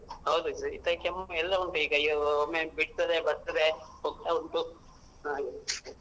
ಹೌದು ಶೀತ ಕೆಮ್ಮು ಎಲ್ಲ ಉಂಟು ಈಗ ಒಮ್ಮೆ ಬಿಡ್ತದೆ ಬರ್ತದೆ ಹೋಗ್ತಾ ಉಂಟು ಹಾಗೆ.